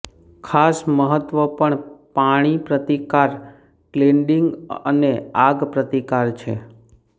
ખાસ મહત્વ પણ પાણી પ્રતિકાર ક્લેડીંગ અને આગ પ્રતિકાર છે